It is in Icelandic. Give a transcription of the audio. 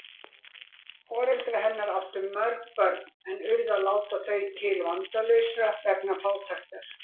Foreldrar hennar áttu mörg börn en urðu að láta þau til vandalausra vegna fátæktar.